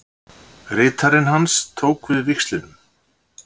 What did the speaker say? Ritarinn hans tók við víxlinum